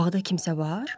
Bağda kimsə var?